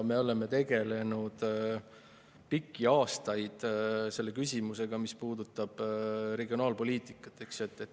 Me oleme pikki aastaid tegelenud selle küsimusega, mis puudutab regionaalpoliitikat.